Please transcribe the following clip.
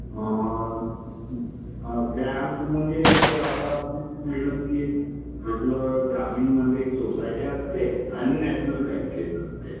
Bank म्हणजे कसं असतं आपलं ग्रामीण मध्ये सोसायट्या असते आणि नॅशनल बँकेत असते.